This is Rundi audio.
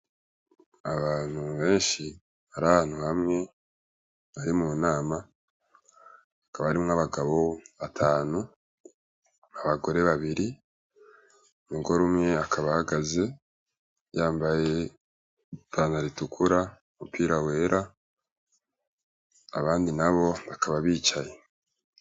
Icumba ciza cane kirimw' umuco mwiza, kuruhome hasiz' irangi ryera, indani har' abagore n' abagabo bicaye, imbere yabo har' umugore yambay' ishati yera n' ijip' itukur' ahagaz' asankah' ariw' arikubagirish' inama